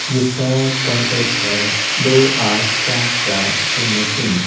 जिसका कॉन्टैक्ट है दो आठ चार चार शून्य तीन।